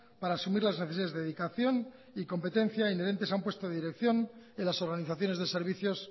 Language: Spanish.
para asumir las necesidades de dedicación y competencia inherentes a un puesto de dirección en las organizaciones de servicios